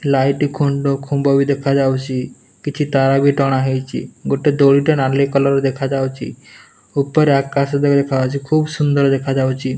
Light ଖୁମ୍ବ ବି ଦେଖାଯାଉଛି କିଛି ତାର ବି ଟଣା ହେଇଛି ଗୋଟେ ଦୋଳି ଟେ ନାଲି କଲର ଦେଖାଯାଉଛି ଉପରେ ଆକାଶ ଦେଖାଯାଉଛି ଖୁବ ସୁନ୍ଦର ଦେଖାଯାଉଛି।